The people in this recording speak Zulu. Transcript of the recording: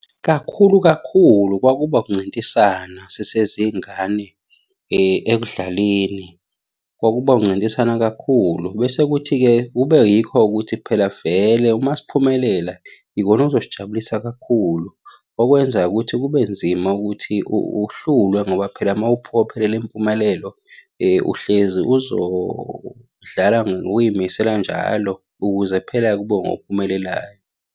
Kakhulu kakhulu kwakuba ukuncintisana sisezingane. Ekudlaleni kwakuba ukuncintisana kakhulu, bese kuthi-ke kube yikho-ke ukuthi phela vele uma siphumelela, ikona okuzosijabulisa kakhulu. Okwenza-ke ukuthi kube nzima ukuthi uhlulwe ngoba phela uma uphokophelele impumelelo, uhlezi uzodlala ngokuy'misela njalo ukuze phela ube ngophumelelayo.